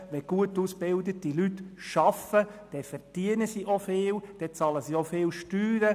Wenn gut ausgebildete Leute arbeiten, dann verdienen sie auch viel und bezahlen entsprechend hohe Steuern.